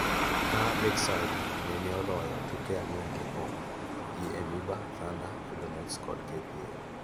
ka Lakeside nene oloyo tuke ang'wen mokuongo gi EMYBA, Thunder, Eldonets kod KPA.